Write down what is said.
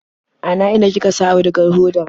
Ana ina kika sa audugar hodar?